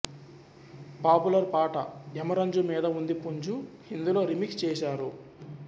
popular పాట యమరంజు మీద వుంది పుంజు ఇందులో రీమిక్స్ చేశారు